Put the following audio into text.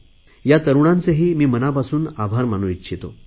या तरुणांचेही मी मनापासून आभार मानू इच्छितो